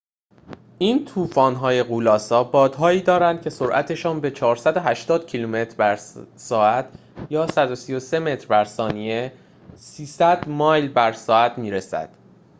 این طوفان‌های غول‌آسا بادهایی دارند که سرعتشان به 480 کیلومتر بر ساعت 133 متر بر ثانیه؛ 300 مایل بر ساعت می‌رسد